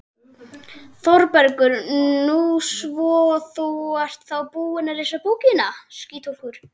ÞÓRBERGUR: Nú, svo þú ert þá búin að lesa bókina!